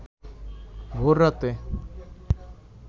ভোর রাতে